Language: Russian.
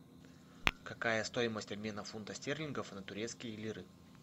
какая стоимость обмена фунта стерлингов на турецкие лиры